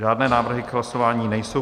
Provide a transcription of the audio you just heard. Žádné návrhy k hlasování nejsou.